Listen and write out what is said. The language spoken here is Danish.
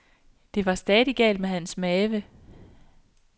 Det var stadig galt med hans mave.